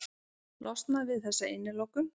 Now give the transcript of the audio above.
Losnað við þessa innilokun.